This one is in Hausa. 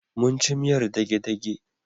Mun ci miyar dage-dage.